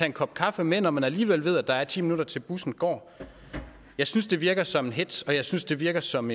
en kop kaffe med når man alligevel ved at der er ti minutter til bussen går jeg synes det virker som en hetz og jeg synes det virker som